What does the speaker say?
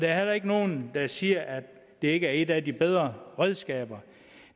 er heller ikke nogen der siger at det ikke er et af de bedre redskaber